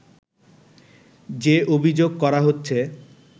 যে অভিযোগ করা হচ্ছে